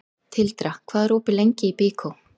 Tildra, hvað er opið lengi í Byko?